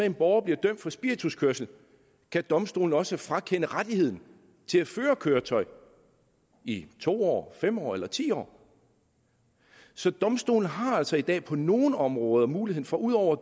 en borger bliver dømt for spirituskørsel kan domstolen også frakende rettigheden til at føre køretøj i to år fem år eller ti år så domstolene har altså i dag på nogle områder muligheden for ud over